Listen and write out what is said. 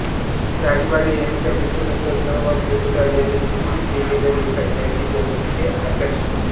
राजवाडे ह्यांच्या मृत्यूनंतर द वा पोतदार ह्यांनी केसरीत लिहिलेल्या लेखात त्यांची जन्मतिथी आषाढ शु